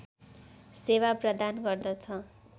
सेवा प्रदान गर्दछ